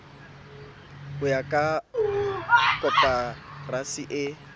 ho ya ka koporasi e